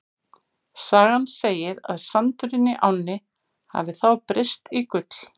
Sagan segir að sandurinn í ánni hafi þá breyst í gull.